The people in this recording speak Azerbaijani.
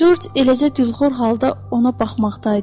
Corc eləcə dülxor halda ona baxmaqdaydı.